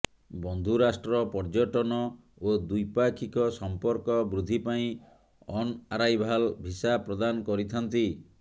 ବନ୍ଧୁ ରାଷ୍ଟ୍ର ପର୍ଯ୍ୟଟନ ଓ ଦ୍ୱିପାକ୍ଷିକ ସମ୍ପର୍କ ବୃଦ୍ଧି ପାଇଁ ଅନ ଆରାଇଭାଲ ଭିସା ପ୍ରଦାନ କରିଥାନ୍ତି